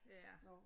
Ja